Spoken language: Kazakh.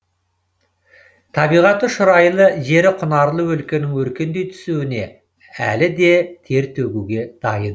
табиғаты шұрайлы жері құнарлы өлкенің өркендей түсуіне әлі де тер төгуге дайын